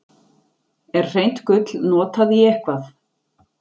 er hreint gull notað í eitthvað